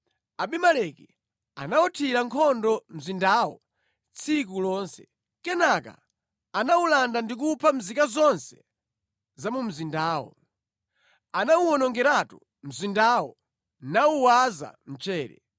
Abimeleki anawuthira nkhondo mzindawo tsiku lonse. Kenaka anawulanda ndi kupha nzika zonse za mu mzindamo. Anawuwonongeratu mzindawo nawuwaza mchere.